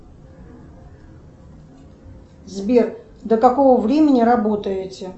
сбер до какого времени работаете